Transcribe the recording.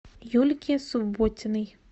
юльки субботиной